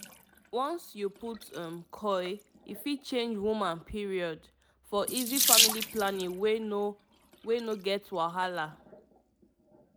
once you put um coil e fit change woman period - for easy family planning wey no wey no get wahala